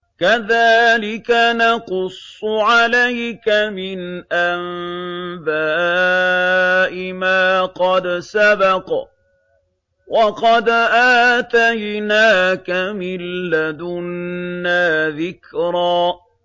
كَذَٰلِكَ نَقُصُّ عَلَيْكَ مِنْ أَنبَاءِ مَا قَدْ سَبَقَ ۚ وَقَدْ آتَيْنَاكَ مِن لَّدُنَّا ذِكْرًا